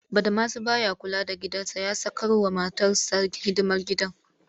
Badamasi ba ya kula da gidansa ya sakarwa matarsa hidimar gida